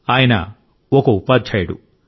ఆయన ఒక ఉపాధ్యాయుడు